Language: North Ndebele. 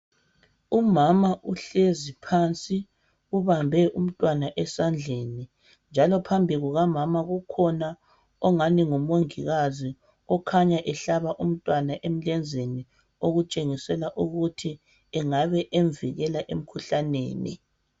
Umama uhlezi phansi ubambe umntwana esandleni njalo phambi kukamama kukhona ongani ngumongikazi okhanya ehlaba umntwana emlenzeni okutshengisela ukuthi engabe emvikela emkhuhlaneni.